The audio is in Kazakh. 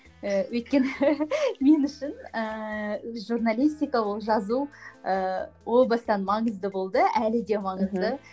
ііі өйткені мен үшін ііі журналистика ол жазу ііі ол бастан маңызды болды әлі де маңызды